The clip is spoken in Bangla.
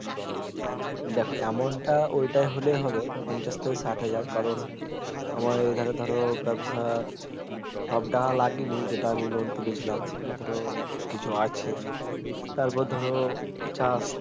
দেখো amount তা ওটা হলে হবে পঞ্চাশ থেকে ষাট হাজার কারণ আমার এখানে ধরো ব্যবসার সব টাকা লাগিনি যেটা আমি loan তুলে ছিলাম ওটা ধরো কিছু আছে তারপার ধরো চাষ